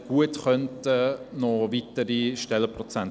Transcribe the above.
ich habe mich informiert.